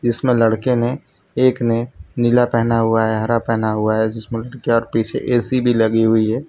इसमें लड़के ने एक ने नीला पहना हुआ है हरा पहना हुआ है जिसमें ए_सी भी लगी हुई है।